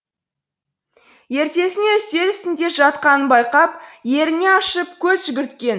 ертесіне үстел үстінде жатқанын байқап еріне ашып көз жүгірткен